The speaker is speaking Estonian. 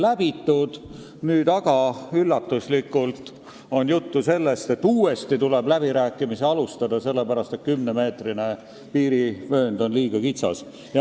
Nüüd on aga üllatuslikult olnud juttu sellest, et uuesti tuleb läbirääkimisi alustada, sellepärast et 10 meetri laiune piirivöönd on liiga kitsas.